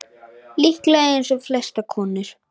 Líklega eins og flestar konur.